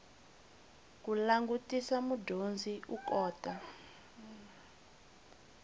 ku langutisa mudyondzi u kota